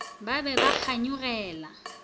ba be ba ba kganyogela